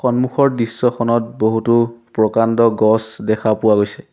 সন্মুখৰ দৃশ্যখনত বহুতো প্ৰকাণ্ড গছ দেখা পোৱা গৈছে।